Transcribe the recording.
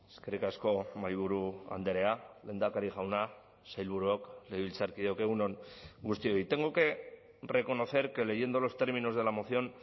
eskerrik asko mahaiburu andrea lehendakari jauna sailburuok legebiltzarkideok egun on guztioi tengo que reconocer que leyendo los términos de la moción